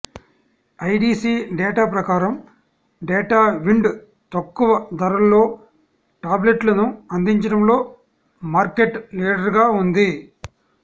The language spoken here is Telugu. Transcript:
ఐడీసీ డేటా ప్రకారం డేటావిండ్ తక్కువ ధరల్లో టాబ్లెట్లను అందించడంలో మార్కెట్ లీడర్గా ఉంది